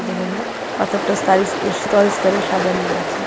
যেখানে পাথরটা স্তারিস-এস্তরে এস্তরে সাজানো রয়েছে.